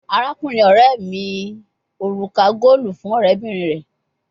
Arakunrin ọrẹ mi oruka goolu fun ọrẹbinrin rẹ